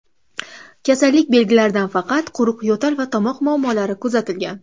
Kasallik belgilaridan faqat quruq yo‘tal va tomoqda muammolar kuzatilgan.